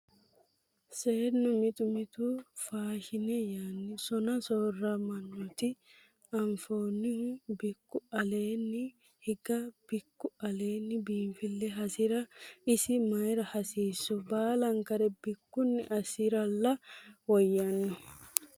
Seennu mitu mitu faashine yaanni sona soorammoreti anfanihu bikku aleeni higa bikku aleeni biinfile hasira isi mayra hasiisu baallankare bikkunni assinirolla woyyanno.